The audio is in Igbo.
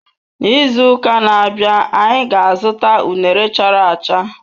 N'izu uka na-abịa, anyị ga-azụta unere chara acha.